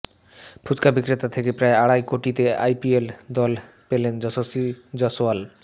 ফুচকা বিক্রেতা থেকে প্রায় আড়াই কোটিতে আইপিএল দল পেলেন যশশ্বী জয়সওয়াল